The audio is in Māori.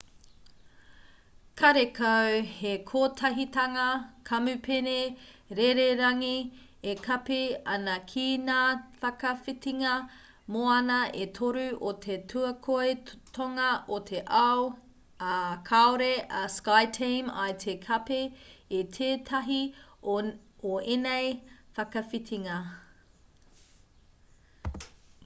karekau he kotahitanga kamupene rererangi e kapi ana ki ngā whakawhitinga moana e toru o te tuakoi tonga o te ao ā kaore a skyteam i te kapi i tētahi o ēnei whakawhitinga